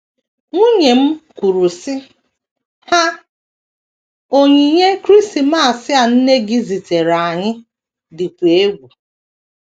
Nwunye m kwuru, sị: “:“ Haa, onyinye Krismas a nne gị ziteere anyị dịkwa egwu. ”